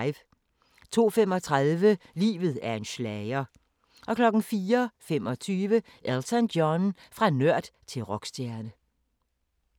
02:35: Livet er en schlager 04:25: Elton John – fra nørd til rockstjerne